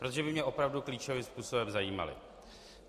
Protože by mě opravdu klíčovým způsobem zajímaly.